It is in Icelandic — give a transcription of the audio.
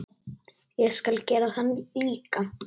Ég skal gera það líka.